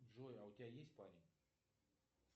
джой а у тебя есть парень